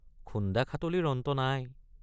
খুন্দাখাটলিৰ অন্ত নাই।